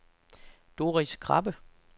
Doris Krabbe